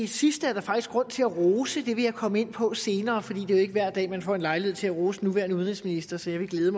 sidste er der faktisk grund til at rose og det vil jeg komme ind på senere for det er jo ikke hver dag man får lejlighed til at rose den nuværende udenrigsminister så jeg vil glæde